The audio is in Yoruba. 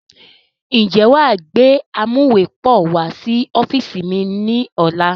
Ń jẹ́ wá gbé amuwepọ̀ wá sí ọ́fíìsì wá ní ọ̀la?